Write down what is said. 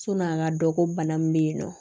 Sɔni a ka dɔn ko bana min bɛ yen nɔ